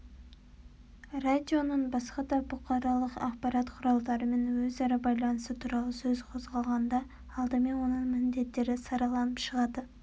радионың басқа да бұқаралық ақпарат құралдарымен өзара байланысы туралы сөз қозғалғанда алдымен оның міндеттері сараланып шығады